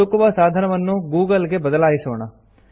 ಹುಡುಕುವ ಸಾಧನವನ್ನು ಗೂಗಲ್ ಗೆ ಬದಲಾಯಿಸೋಣ